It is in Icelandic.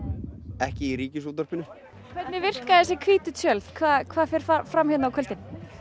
ekki í Ríkisútvarpinu hvernig virka þessi hvítu tjöld hvað hvað fer fram hérna á kvöldin